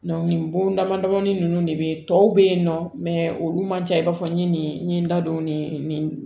nin bon damadamani ninnu de bɛ tɔw be yen nɔ olu man ca i b'a fɔ n ye nin n ye n da don ni nin